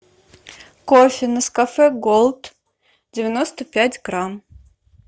кофе нескафе голд девяносто пять грамм